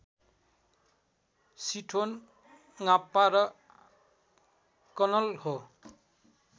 शिठोन ङापा र कनल्हो